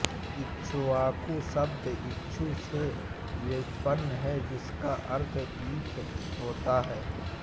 इक्ष्वाकु शब्द इक्षु से व्युत्पन्न है जिसका अर्थ ईख होता है